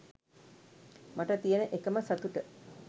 මට තියන එකම සතුට